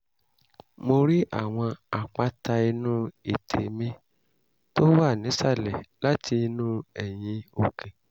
mo rí àwọn àpáta inú ètè mi tó wà nísàlẹ̀ láti inú eyín òkè